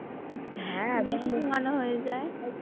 বেশি ঘুমানো হয়ে যায়।